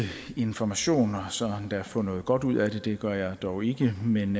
information og så endda få noget godt ud af det det gør jeg dog ikke men